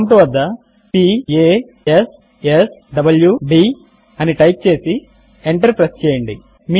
prompt వద్ద p a s s w d అని type చేసి ఎంటర్ ప్రెస్ చేయండి